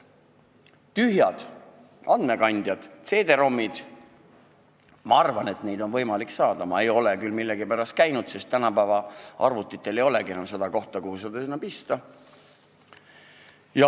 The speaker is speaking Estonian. Tühje andmekandjaid, CD-ROM-e ilmselt kusagilt saab, ehkki ma ei ole millegipärast neid ka näinud, sest tänapäeva arvutitel ei olegi enam kohta, kuhu seda pista.